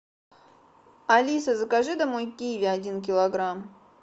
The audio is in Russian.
алиса закажи домой киви один килограмм